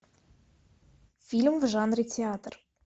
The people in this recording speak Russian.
фильм в жанре театр